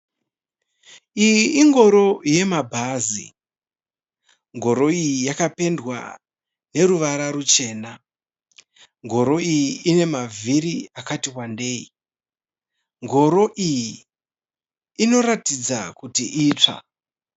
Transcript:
Iyi ingoro yemabhazi. Ngoro iyi yakapendwa neruvara ruchena. Ngoro iyi ine mavhiri akati wandeyi. Ngoro iyi inoratidza kuti itsva.